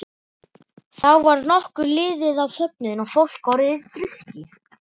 Þá var nokkuð liðið á fögnuðinn og fólk orðið drukkið.